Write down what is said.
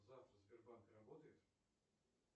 завтра сбербанк работает